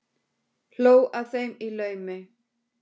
Hló að þeim í laumi.